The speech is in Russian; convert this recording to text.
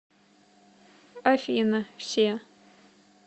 афина все